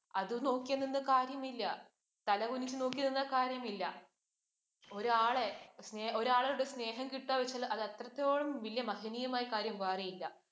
അത് നോക്കി നിന്ന് കാര്യമില്ല. തലകുനിച്ച് നോക്കി നിന്നാൽ കാര്യമില്ല. ഒരാളെ ഒരാളുടെ സ്നേഹം കിട്ടുക എന്ന് വച്ചാൽ അത് അത്രത്തോളം വലിയ മഹനീയമായ കാര്യം വേറെയില്ല.